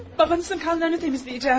Babanızın qanlarını təmizləyəcək.